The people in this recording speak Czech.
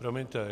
Promiňte.